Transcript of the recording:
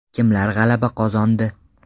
Kimlar g‘alaba qozondi?